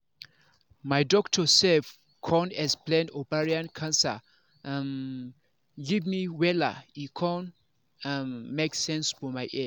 my doctor sef con explain ovarian cancer um give me wella e con um make sense for my ear